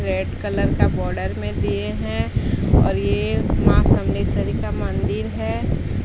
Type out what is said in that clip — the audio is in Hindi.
रेड कलर का बॉर्डर में दिए हैं और ये मां सम्मेसरी का मंदिर है।